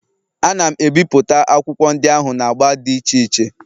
Ana m ebipụta akwụkwọ ndị ahụ na agba dị iche iche